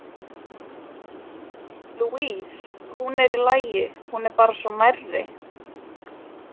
Louise, hún er í lagi, hún er bara svo nærri.